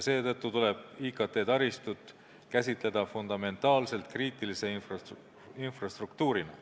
Seetõttu tuleb IKT-taristut käsitleda fundamentaalselt kriitilise infrastruktuurina.